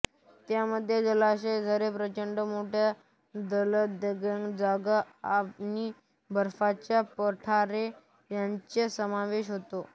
त्यामध्ये जलाशय झरे प्रचंड मोठ्या दलदलीच्या जागा आणि बर्फाची पठारे यांचा समावेश होतो